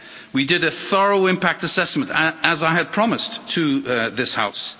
We did a thorough impact assessment, as I had promised to this House.